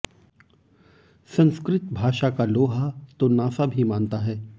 संस्कृत भाषा का लोहा तो नासा भी मानता है